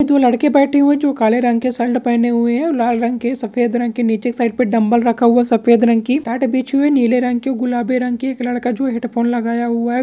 ये दो लड़के बैठे हुए हैं जो काले रंग के शर्ट पहने हुए हैं और लाल रंग के सफेद रंग के नीचे साइड पे डंबल रखा हुए है सफेद रंग की मैट बिछी हुई है नीले रंग की गुलाबी रंग की एक लडका जो हेड फोन लगाया हुआ है --